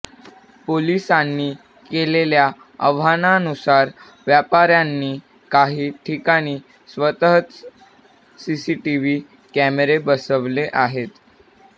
पोलिसांनी केलेल्या आवाहनानुसार व्यापाऱयांनी काही ठिकाणी स्वतःच सीसीटीव्ह कॅमेरे बसवले आहेत